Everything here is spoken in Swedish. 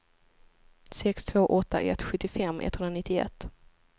sex två åtta ett sjuttiofem etthundranittioett